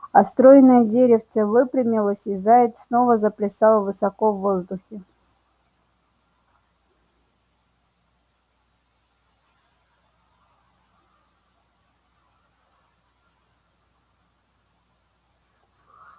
а стройное деревце выпрямилось и заяц снова заплясал высоко в воздухе